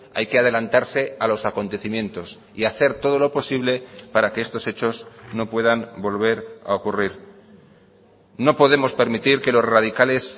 hay que adelantarse a los acontecimientos y hacer todo lo posible para que estos hechos no puedan volver a ocurrir no podemos permitir que los radicales